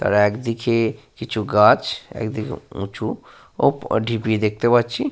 তার একদিকে কিছু গাছ একদিকে উঁচু ও ঢিপি দেখতে পাচ্ছি।